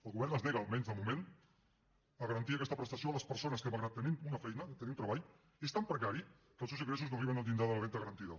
el govern es nega almenys de moment a garantir aquesta prestació a les persones que malgrat tenir una feina tenir un treball és tan precari que els seus ingressos no arriben al llindar de la renda garantida